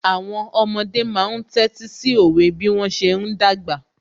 Àwọn ọmọdé máa ń tẹ́tí sí òwe bí wọ́n ṣe ń dàgbà